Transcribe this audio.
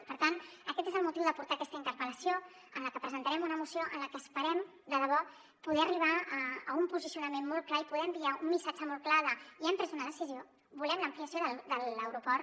i per tant aquest és el motiu de portar aquesta interpel·lació amb la que pre·sentarem una moció en la que esperem de debò poder arribar a un posicionament molt clar i poder enviar un missatge molt clar de ja hem pres una decisió volem l’ampliació de l’aeroport